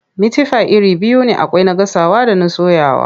Mitifai iri biyu ne akwai na gasawa da na soyawa.